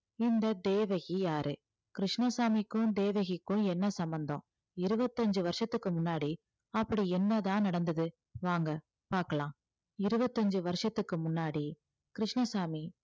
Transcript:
இந்த தேவகி யாரு கிருஷ்ணசாமிக்கும் தேவகிக்கும் என்ன சம்பந்தம் இருபத்தஞ்சு வருஷத்துக்கு முன்னாடி அப்படி என்னதான் நடந்தது வாங்க பார்க்கலாம் இருபத்தஞ்சு வருஷத்துக்கு முன்னாடி கிருஷ்ணசாமி